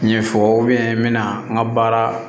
Ɲɛfɔ n bɛna n ka baara